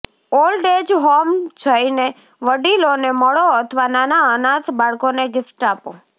old age home જઈને વડીલોને મળો અથવા નાનાં અનાથ બાળકોને ગિફ્ટ્સ આપો